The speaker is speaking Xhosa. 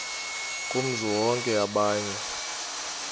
kumzi wonke okanye